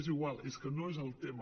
és igual és que no és el tema